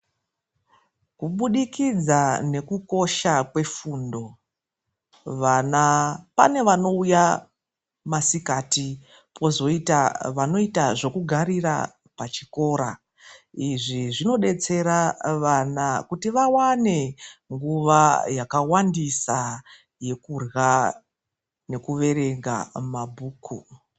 Kubudikidza nekukosha kwefundo vana pane vanouya masikati kwozoita vanoita zvekugarira pachikora izvi zvinodetsera vana kuti vawane nguva yakawandisa yekurya nekuverenga mabhuku .